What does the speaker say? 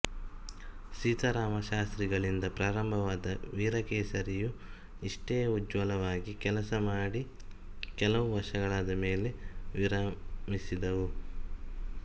ಸೀತಾರಾಮಶಾಸ್ತ್ರಿ ಗಳಿಂದ ಪ್ರಾರಂಭವಾದ ವೀರಕೇಸರಿಯು ಇಷ್ಟೇ ಉಜ್ವಲವಾಗಿ ಕೆಲಸ ಮಾಡಿ ಕೆಲವು ವರ್ಷಗಳಾದ ಮೇಲೆ ವಿರಾಮಿಸಿದವು